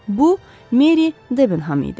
Bu Meri Debenham idi.